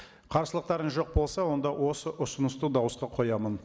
қарсылықтарыңыз жоқ болса онда осы ұсынысты дауысқа қоямын